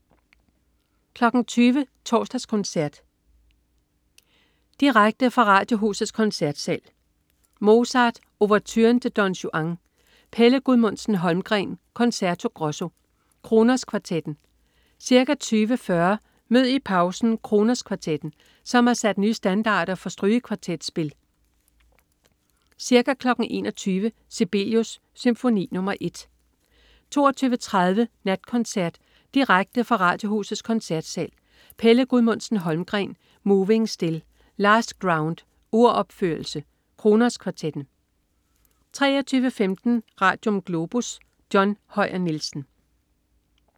20.00 Torsdagskoncert. Direkte fra Radiohusets Koncertsal. Mozart: Ouverturen til Don Juan. Pelle Gudmundsen-Holmgreen: Concerto Grosso. Kronos Kvartetten. Ca. 20.40 Mød i pausen Kronos Kvartetten, der har sat nye standarder for strygekvartetspil. Ca. 21.00 Sibelius: Symfoni nr. 1 22.30 Natkoncert. Direkte fra Radiohusets Koncertsal. Pelle Gudmundsen-Holmgreen: Moving Still. Last Ground. Uropførelse. Kronos Kvartetten 23.15 Radium. Globus. John Høyer Nielsen